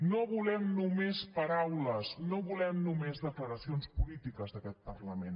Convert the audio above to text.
no volem només paraules no volem només declaracions polítiques d’aquest parlament